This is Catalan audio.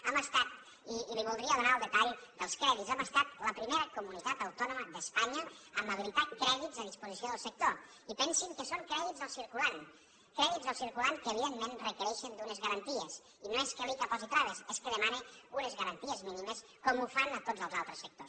hem estat i li voldria donar el detall dels crèdits la primera comunitat autònoma d’espanya a habilitar crèdits a disposició del sector i pensin que són crèdits al circulant crèdits al circulant que evidentment requereixen unes garanties i no és que l’icca posi traves és que demana unes garanties mínimes com ho fan a tots els altres sectors